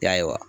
Yaye wa